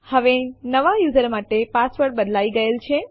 હવે નવા યુઝર માટે પાસવર્ડ બદલાઈ ગયેલ છે